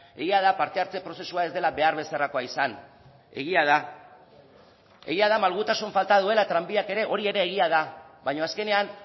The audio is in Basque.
egia da parte hartze prozesua ez dela behar bezalakoa izan egia da egia da malgutasun falta duela tranbiak ere hori ere egia da baina azkenean